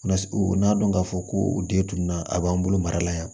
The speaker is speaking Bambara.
u n'a dɔn ka fɔ ko u den tunna a b'an bolo mara la yan